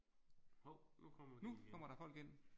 Hov nu kommer de ind